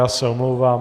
Já se omlouvám.